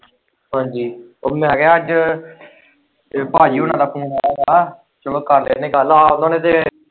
ਹਾਂਜੀ ਉਹ ਮੈਂ ਕਿਹਾ ਅੱਜ ਭਾਜੀ ਹੁਣਾ ਦਾ ਫੂਨ ਆਏ ਦਾ ਚੱਲੋ ਕਰ ਲੈਣੇ ਗੱਲ ਆ ਉਹਨਾਂ ਨੇ ਤੇ।